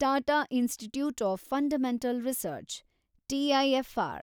Tata Institute of Fundamental Research, TIFR